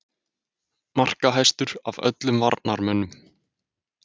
Markahæstur af öllum varnarmönnum??